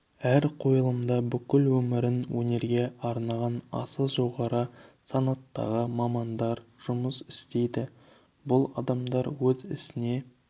әр қойылымда бүкіл өмірін өнерге арнаған аса жоғары санаттағы мамандар жұмыс істейді бұл адамдар өз ісіне